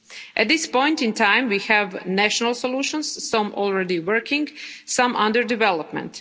At this point in time, we have national solutions some already working, some under development.